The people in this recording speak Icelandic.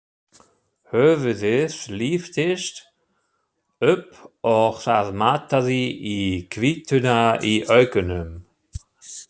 Höfuðið lyftist upp og það mataði í hvítuna í augunum.